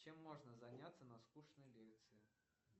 чем можно заняться на скучной лекции